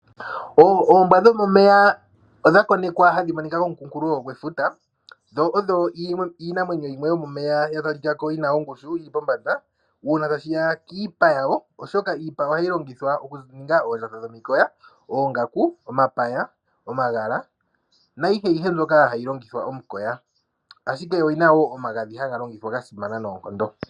Oombwa dhomomeya odha konekiwa hadhi kala komukulofuta , dho oyo iinamwenyo yomomeya ya talikako yina ongushu yili pombanda uuna tashi ya kiipa yawo. Iipa yawo ohayi longithwa okuninga oongaku, omapaya nayilwe mbyoka hayi longithwa omukoya, ashike oyina wo omagadhi haga longithwa gasimana noonkondo.